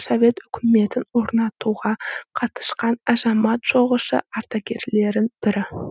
совет өкіметін орнатуға қатысқан азамат соғысы ардагерлерінің бірі